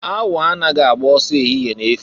Awọ anaghị agba ọsọ ehihie na-efu.